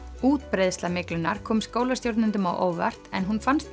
útbreiðsla kom skólastjórnendum á óvart en hún fannst